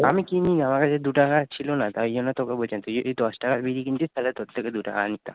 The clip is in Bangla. দু টাকা ছিলো না তাই জন্য তোকে যদি দশ টাকা বিড়ি কিনতে, তালে তোর থেকে